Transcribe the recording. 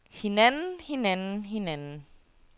hinanden hinanden hinanden